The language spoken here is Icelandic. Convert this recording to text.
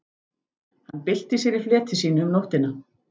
Hann bylti sér í fleti sínu um nóttina.